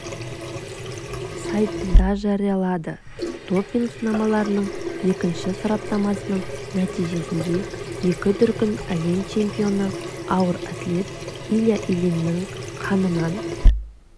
сайтында жариялады допинг-сынамаларының екінші сараптамасының нәтижесінде екі дүркін әлем чемпионы ауыр атлет илья ильиннің қанынан